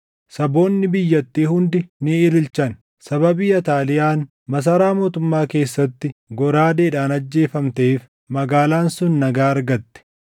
Saboonni biyyattii hundi ni ililchan. Sababii Ataaliyaan masaraa mootummaa keessatti goraadeedhaan ajjeefamteef magaalaan sun nagaa argatte.